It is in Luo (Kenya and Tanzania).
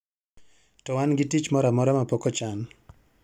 to wan gi tich moro amaro ma pok ochan